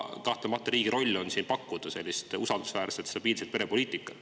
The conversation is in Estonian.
Aga riigi roll on kahtlemata pakkuda usaldusväärset ja stabiilset perepoliitikat.